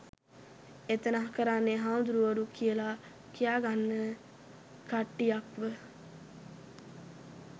එතන කරන්නෙ හාමුදුරුවරු කියල කියාගන්න කට්ටියක්ව